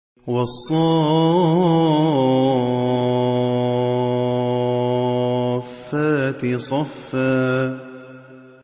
وَالصَّافَّاتِ صَفًّا